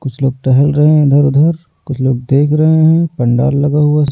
कुछ लोग टहल रहे हैं इधर-उधर कुछ लोग देख रहे हैं पंडाल लगा हुआ --